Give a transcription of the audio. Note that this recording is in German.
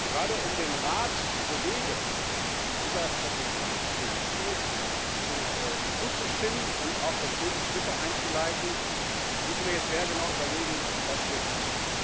Gerade um den Rat zu bewegen, dieser Strategie und dem Ziel zuzustimmen und auch konkrete Schritte einzuleiten, müssen wir jetzt sehr genau überlegen, was wir tun.